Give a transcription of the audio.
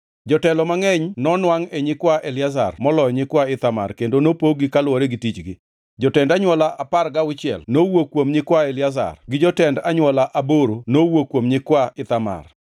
Jotelo mangʼeny nonwangʼ e nyikwa Eliazar moloyo nyikwa Ithamar kendo nopog-gi kaluwore gi tichgi. Jotend anywola apar gauchiel nowuok kuom nyikwa, Eliazar to gi jotend anywola aboro nowuok kuom nyikwa Ithamar.